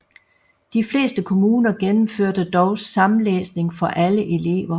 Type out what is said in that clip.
De fleste kommuner gennemførte dog samlæsning for alle elever